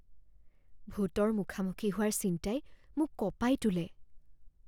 ভূতৰ মুখামুখি হোৱাৰ চিন্তাই মোক কঁপাই তোলে।